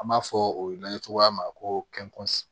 An b'a fɔ o ye n'an ye cogoya min na ko